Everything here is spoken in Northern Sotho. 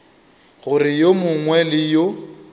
gore yo mongwe le yo